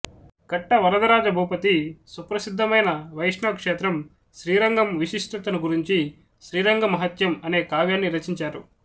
కట్ట వరదరాజ భూపతి సుప్రసిద్ధమైన వైష్ణవక్షేత్రం శ్రీరంగం విశిష్టతను గురించి శ్రీరంగ మహాత్మ్యం అనే కావ్యాన్ని రచించారు